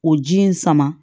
O ji in sama